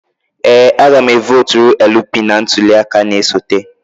Ee a ga m e votụrụ LP na ntuli aka na-esote